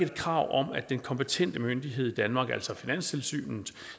krav om at den kompetente myndighed i danmark altså finanstilsynet